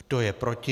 Kdo je proti?